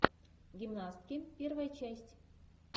гимнастки первая часть